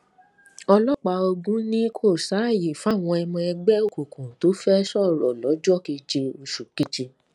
ọlọpàá ogun ni kò sáàyè fáwọn ọmọ ẹgbẹ òkùnkùn tó fẹẹ sọrọ lọjọ keje oṣù keje